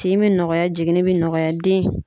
Tin bɛ nɔgɔya jiginnin bɛ nɔgɔya den